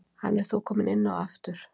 Hann er þó kominn inná aftur